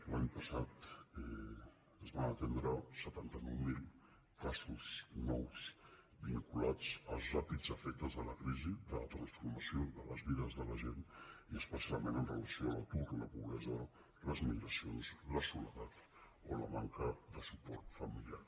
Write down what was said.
l’any passat es van atendre setanta nou mil casos nous vinculats als ràpids efectes de la crisi de la transformació de les vides de la gent i especialment amb relació a l’atur la pobresa les migracions la soledat o la manca de suport familiar